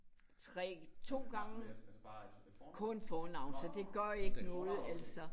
3 2 gange kun fornavn så det gør ikke noget altså